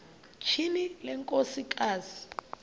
tyhini le nkosikazi